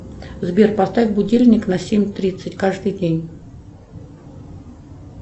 сбер поставь будильник на семь тридцать каждый день